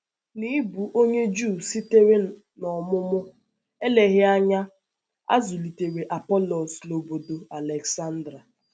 N’ịbụ onye Juu sitere n’ọmụmụ, èleghị anya a zụlitere Apọlọs n’ọ̀bọ̀dò Alèksándria.